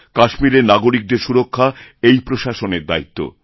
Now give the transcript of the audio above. কাশ্মীরেরনাগরিকদের সুরক্ষা এই প্রশাসনের দায়িত্ব